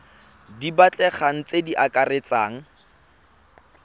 di batlegang tse di akaretsang